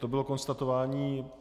To bylo konstatování.